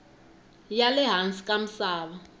ya le hansi ka misava